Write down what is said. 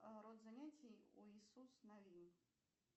род занятий у исус навин